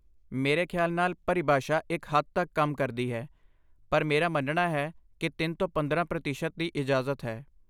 ਮੇਰੇ ਖਿਆਲ ਨਾਲ ਪਰਿਭਾਸ਼ਾ ਇੱਕ ਹੱਦ ਤੱਕ ਕੰਮ ਕਰਦੀ ਹੈ, ਪਰ ਮੇਰਾ ਮੰਨਣਾ ਹੈ ਕਿ ਤਿੰਨ ਤੋਂ ਪੰਦਰਾਂ ਪ੍ਰਤੀਸ਼ਤ ਦੀ ਇਜਾਜ਼ਤ ਹੈ